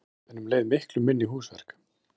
Þröngt en um leið miklu minni húsverk